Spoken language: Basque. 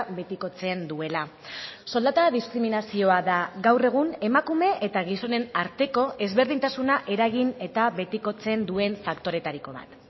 betikotzen duela soldata diskriminazioa da gaur egun emakume eta gizonen arteko ezberdintasuna eragin eta betikotzen duen faktoretariko bat